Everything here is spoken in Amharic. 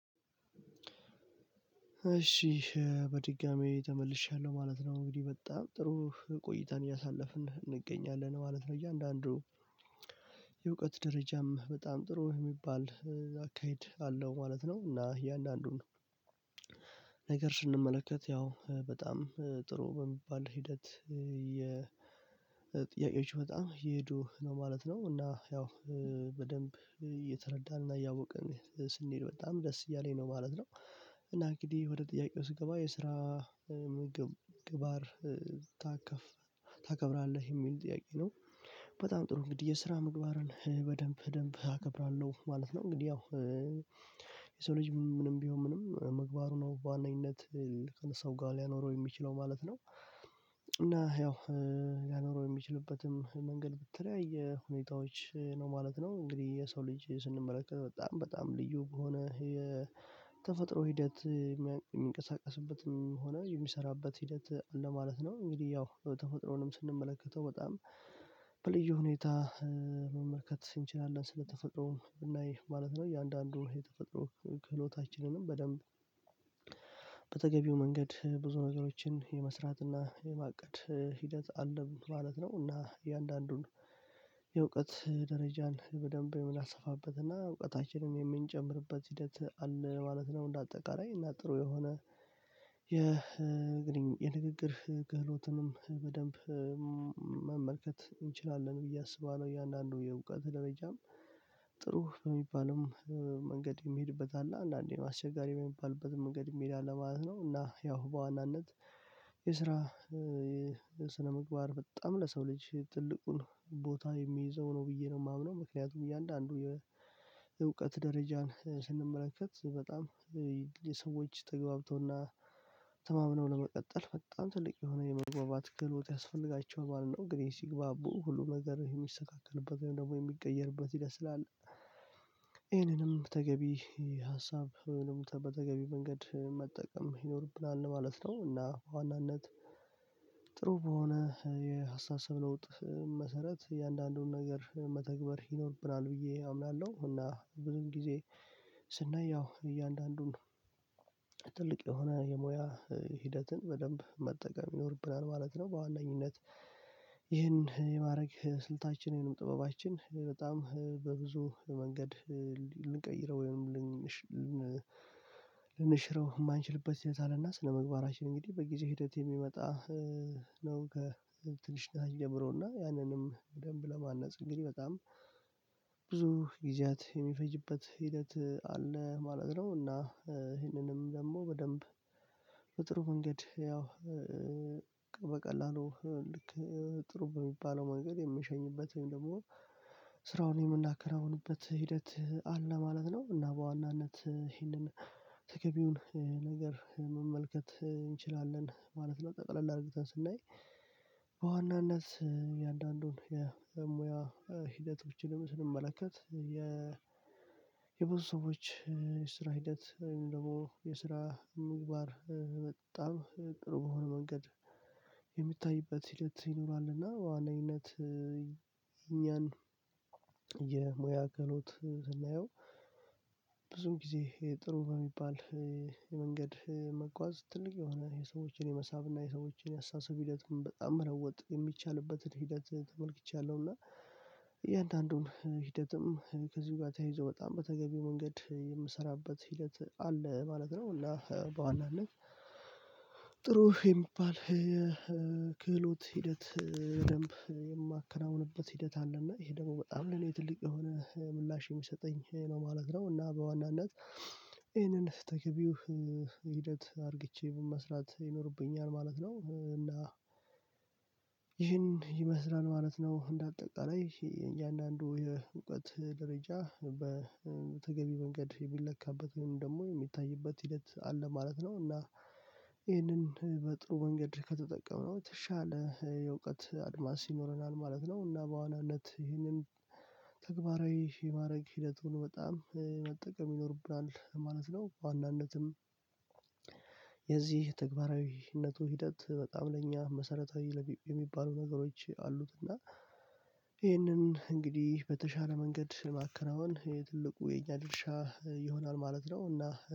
እሺ በድጋሚ ተመልሼያለሁ ማለት ነው እንግዲህ በጣም ጥሩ ቆይታን እያሳለፍን እንገኛለን ማለት ነው። እያንዳንዱ የእውቀት ደረጃም በጣም ጥሩ የሚባል አካሄድ አለው ማለት ነው። እና የእያንዳንዱን ነገር ስንመለከት ያው በጣም ጥሩ በሚባል ሂደት ጥያቄዎቹ በጣም የሄዱ ነው ማለት ነው። እና ያው በደንብ እየተረዳንና እያወቅን ስንሄድ በጣም ደስ እያለኝ ነው ማለት ነው። እና እንግዲህ ወደ ጥያቄው ስገባ የስራ ምግባር ታከፍ ታከብራለህ የሚል ጥያቄ ነው? በጣም ጥሩ እንግዲህ የስራ ምግባርን በደንብ በደንብ አከብራለሁ ማለት ነው። እንግዲህ ያው የሰው ልጅ ምንም ቢሆን ምንም ምግባሩ ነው በዋነኝነት ከሰው ጋር ሊያኖረው የሚችለው ማለት ነው። እና ያው ሊያኖረው የሚችልበትም መንገድ በተለያይ ሁኔታዎች ነው ማለት ነው። እንግዲህ የሰው ልጅ ስንመለከት በጣም በጣም ልዩ ከሆነ የተፈጥሮ ሂደት የሚንቀሳቀስበትም ሆነ የሚሰራበት ሂደት አለ ማለት ነው። እንግዲህ ያው ተፈጥሮንም ስንመለከተው በጣም በልዩ ሁኔታ መመልከት እንችላለን ስለተፈጥሮም ስናይ ማለት ነው። እያንዳንዱ የተፈጥሮ ክህሎታችንንም በደንብ በተገቢው መንገድ ብዙ ነገሮችን የመስራት እና የማቀድ ሂደት አለን ማለት ነው። እና እያንዳንዱን የእውቀት ደረጃን በደንብ የምናሰፋበት እና እውቀታችንን የምንጨምርበት ሂደት አለ ማለት ነው። እንደ አጠቃራይ እና ጥሩ የሆነ የንግግር ክህሎትንም በደንብ መመልከት እንችላለን ብዬ አስባለሁ። እያንዳንዱ የእውቀት ደረጃም ጥሩ በሚባልም መንገድ የሚሄድበት አለ አንዳንዴ አስቸጋሪ የሚባልበት መንገድ የሚሄድ አለ ማለት ነው። እና ያው በዋናነት የስራ ስነምግባር በጣም ለሰው ልጅ ትልቁን ቦታ የሚይዘው ነው ብዬ ነው የማምነው ምክንያቱም እያንዳንዱ የእውቀት ደረጃን ስንመለከት በጣም ተገብቶና ተማምነው ለመቀጠል በጣም ትልቅ የሆነ የመግባባት ክህሎት ያስፈልጋቸዋል ማለት ነው። እንግዲህ ሲግባቡ ሁሉም ነገር የሚሰካከንበት ወይም የሚቀየርበት ህደት ስላለ ይሄንንም ተገቢ ሀሳብ ይህንንም በተገቢ መንገድ መጠቀም ይኖርብናል ማለት ነው። እና ዋናነት ጥሩ በሆነ የሀሳብ ስረ ለውጥ መሰረት እያንዳንዱን ነገር መተግበር ይኖርብናል ብዬ አምናለሁ። እና ብዙም ጊዜ ስናይ ያው እያንዳንዱን ትልቅ የሆነ የሙያ ሂደትን በደንብ መጠቀም ይኖርብናል ማለት ነው። በዋነኝነት ይህን የማድረግ ስልታችንንም ጥበባችን በጣም በብዙ መንገድ ወይም ልንሽረው የማንችልበት ስህተት አለና ስነምግባራችን እንግዲህ በጊዜ ሂደት የሚመጣ ነው ከትንሽ ጊዜ ጀምሮና ያንንም በደንብ ለማነጽ እንግዲህ በጣም ብዙ ጊዜያት የሚፈጅበት ሂደት አለ ማለት ነው። እና ይህንንም ደግሞ በደንብ በጥሩ መንገድ ያው በቀላሉ ልክ ጥሩ በሚባለው መንገድ የምሸኝበት ወይም ደግሞ ስራውን የምናከናውንበት ሂደት አለ ማለት ነው። እና በዋናነት ይህንን ተገቢውን ነገር መመልከት እንችላለን ማለት ነው። ጠቅለል አድርገን ስናይ በዋናነት እያንዳንዱን የሙያ ሕደቶችንም ስንመለከት የ የብዙ ሰዎች የስራ ሂደት ወይም ደግሞ የስራ ምግባር በጣም ቅርብ የሆነ መንገድ የሚታይበት ሂደት ይኖራልና። እና ዋነኝነት እኛን የሙያ ክህሎት ስናየው ብዙም ጊዜ ጥሩ በሚባል የመንገድ መጓዝ ትልቅ የሆነ የሰዎችን የመሳብ እና የሰዎችን የአስተሳሰብ ሂደትም በጣም መለወጥ የሚቻልበትን ሂደት ተመልክቻለሁ። እና እያንዳንዱን ሂደትም ከዚሁ ጋር ተያይዞ በጣም በተገቢው መንገድ የምሰራበት ሂደት አለ ማለት ነው። እና በዋናነት ጥሩ የሚባል ክህሎት ሂደት በደንብ የማከናውንበት ሂደት አለ እና ይሄ ደግሞ በጣም ለኔ ትልቅ የሆነ ምላሽ የሚሰጠኝ ነው ማለት ነው። እና በዋናነት ይህንን ተገቢው ሂደት አርግቼ መስራት ይኖርብኛል ማለት ነው እና ይህን ይመስላል ማለት ነው። እንደ አጠቃላይ እያንዳንዱ የእውቀት ደረጃ በተገቢ መንገድ የሚለካበት ወይም ደግሞ የሚታይበት ሂደት አለ ማለት ነው። እና ይህንን በጥሩ መንገድ ከተጠቀምነው የተሻለ የእውቀት አድማስ ይኖረናል ማለት ነው። እና በዋናነት ይህንን ተግባራዊ የማድረግ ሂደቱን በጣም መጠቀም ይኖርብናል ማለት ነው። በዋናነትም የዚህ ተግባራዊነቱ ሂደት በጣም ለእኛ መሰረታዊ የሚባሉ ነገሮች አሉት እና ይህንን እንግዲህ በተሻለ መንገድ ማከናወን ትልቁ የኛ ድርሻ ይሆናል ማለት ነው። እና